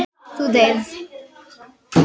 Þú deyrð.